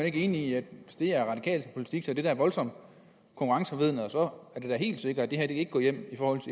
ikke enig i at hvis det er radikal politik er det da voldsomt konkurrenceforvridende og så er det da helt sikkert at det her ikke går igennem